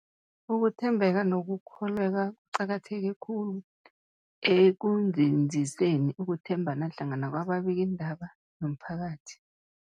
Ukuthembeka nokukholweka kuqakatheke khulu ekunzinziseni ukuthembana hlangana kwababikiindaba nomphakathi.